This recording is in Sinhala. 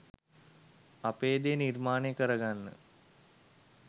අපේ දේ නිර්මාණය කර ගන්න